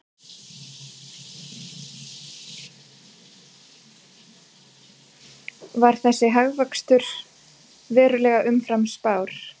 Var þessi hagvöxtur verulega umfram spár